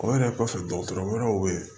O yɛrɛ kɔfɛ dɔgɔtɔrɔ wɛrɛw bɛ ye